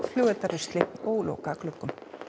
flugeldarusli og loka gluggum